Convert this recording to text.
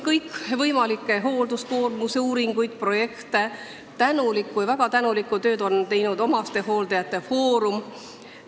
Kõikvõimalikke hoolduskoormuse uuringuid, projekte, väga tänuväärset tööd on teinud omastehooldajate foorum.